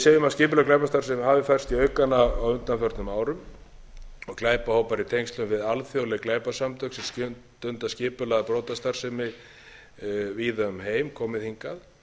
segjum að skipuleg glæpastarfsemi hefur færst í aukana á undanförnum árum og glæpahópar í tengslum við alþjóðleg glæpasamtök sem stunda skipulagða brotastarfsemi víða um heim komið hingað